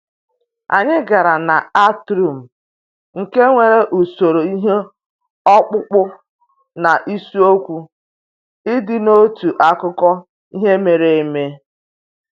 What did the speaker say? Anyị gara na atrium, nke nwere usoro ihe ọkpụkpụ na isiokwu ịdị n'otu akụkọ ihe mere eme